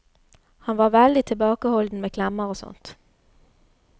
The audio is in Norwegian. Han var veldig tilbakeholden med klemmer og sånt.